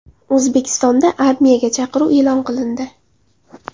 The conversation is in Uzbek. O‘zbekistonda armiyaga chaqiruv e’lon qilindi.